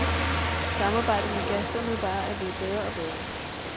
Samarbejdet med gasterne bare er blevet bedre og bedre.